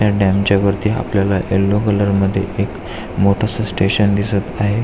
या डॅम च्या वरती आपल्याला यल्लो कलर मध्ये एक मोठस स्टेशन दिसत आहे.